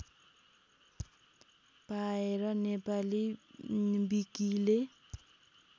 पाएर नेपाली विकिले